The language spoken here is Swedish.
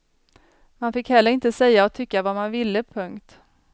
Man fick heller inte säga och tycka vad man ville. punkt